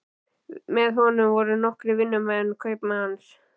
Með honum voru nokkrir vinnumenn kaupmanns.